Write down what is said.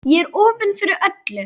Ég er opin fyrir öllu.